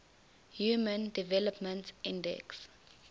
human development index